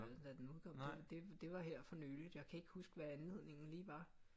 Da den udkom det var her for nyligt jeg kan ikke huske hvad anledningen lige var